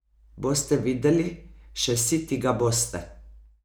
Boste videli, še siti ga boste!